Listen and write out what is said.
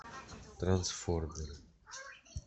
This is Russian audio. трансформеры